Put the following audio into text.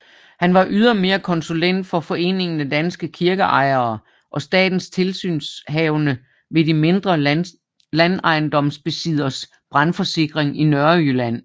Han var ydermere konsulent for Foreningen af danske Kirkeejere og statens tilsynshavende ved de mindre landejendomsbesidderes brandforsikring i Nørrejylland